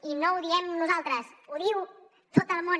i no ho diem nosaltres ho diu tot el món